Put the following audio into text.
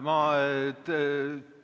Ma